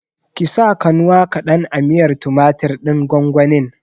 Ki sa kanwa kaɗan a miyar tumatir ɗin gwangwanin!